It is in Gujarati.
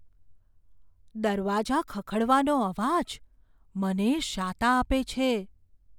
દરવાજા ખખડવાનો અવાજ મને શાતા આપે છે.